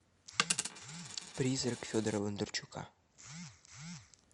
призрак федора бондарчука